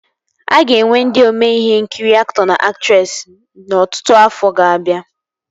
A ga-enwe ndị ome ihe nkiri aktọ na aktresị n'ọtụtụ afọ ga-abịa